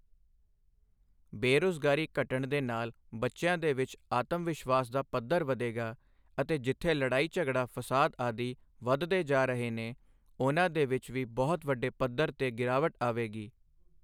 ਬੇਰੁਜ਼ਗਾਰੀ ਘਟਣ ਦੇ ਨਾਲ ਬੱਚਿਆਂ ਦੇ ਵਿੱਚ ਆਤਮ ਵਿਸ਼ਵਾਸ ਦਾ ਪੱਧਰ ਵਧੇਗਾ ਅਤੇ ਜਿੱਥੇ ਲੜਾਈ ਝਗੜਾ ਫਸਾਦ ਆਦਿ ਵੱਧਦੇ ਜਾ ਰਹੇ ਨੇ ਉਹਨਾਂ ਦੇ ਵਿੱਚ ਵੀ ਬਹੁਤ ਵੱਡੇ ਪੱਧਰ 'ਤੇ ਗਿਰਾਵਟ ਆਵੇਗੀ